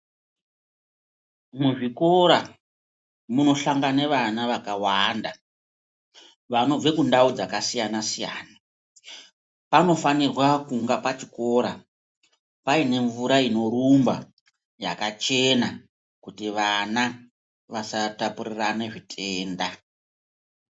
Muzvikora munosangana vana vakawanda vanobve kundau dzakasiyana siyana panofanirwa kunga pachikora paine mvura inorumba yakachena kuti vana vasataputirirane zvitenda.